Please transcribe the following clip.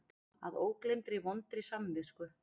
Að ógleymdri vondri samvisku.